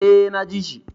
Eh, na ji shi